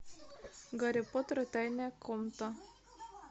гарри поттер и тайная комната